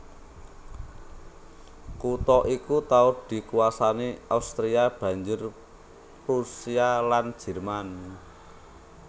Kutha iki tau dikuwasani Austria banjur Prusia lan Jerman